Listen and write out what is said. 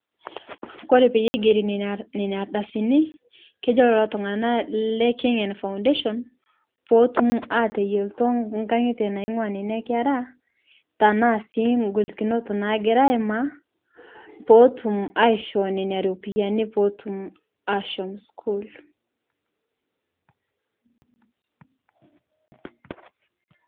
Kore teneig'erii nenia ardasinii kejoo leloo tung'ana Le kenyan foundation pootum ateyeltoo nkang'ite naing'ua nenia keraa tanaa sii ng'olikinot nagiraa aimaa pootum aishoo nenia ropiyani pootum ashom sukuul.